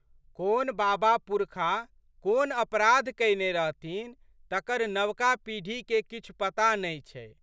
कोन बाबापुरखा कोन अपराध कयने रहथिन तकर नवका पीढ़ीके किछु पता नहि छै।